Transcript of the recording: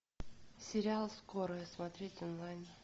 сериал скорая смотреть онлайн